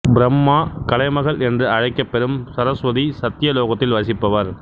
பிரம்மா கலைமகள் என்று அழைக்கப்பெறும் சரசுவதி சத்ய லோகத்தில் வசிப்பவர்